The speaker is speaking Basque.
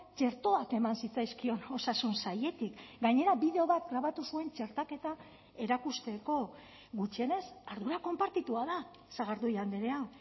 txertoak eman zitzaizkion osasun sailetik gainera bideo bat grabatu zuen txertaketa erakusteko gutxienez ardura konpartitua da sagardui andrea